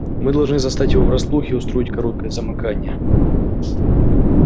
мы должны застать его врасплох и устроить короткое замыкание